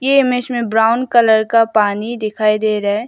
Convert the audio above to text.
ये इमेज में brown colour का पानी दिखाई दे रहा है।